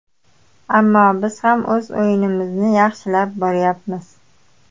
Ammo biz ham o‘z o‘yinimizni yaxshilab boryapmiz.